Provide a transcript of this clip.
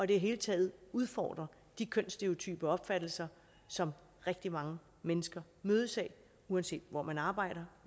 det hele taget udfordre de kønsstereotype opfattelser som rigtig mange mennesker mødes af uanset hvor man arbejder